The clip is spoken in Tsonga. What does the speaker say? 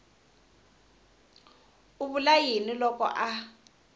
u vula yini loko a